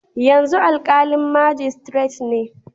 Yanzu alƙalin majistiret ne.